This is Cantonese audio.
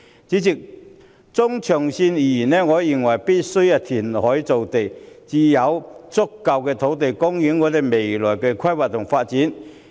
主席，中長線而言，我認為必需填海造地，才能有足夠的土地供應配合未來的規劃和發展。